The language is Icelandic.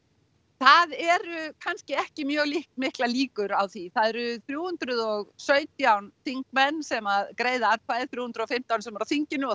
það eru kannski ekki mjög miklar líkur á því það eru þrjú hundruð og sautján þingmenn sem greiða atkvæði þrjú hundruð og fimmtán sem eru á þinginu og